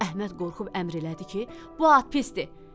Əhməd qorxub əmr elədi ki, bu at pisdir.